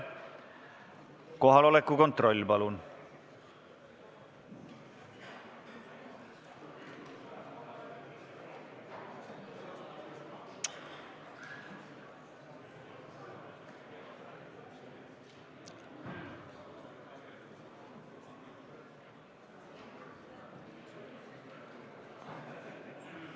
Kohaloleku kontroll, palun!